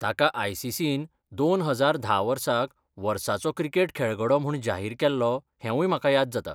ताका I. C. C. न दोन हजार धा वर्साक 'वर्साचो क्रिकेट खेळगडो' म्हूण जाहीर केल्लो हेंवूय म्हाका याद जाता.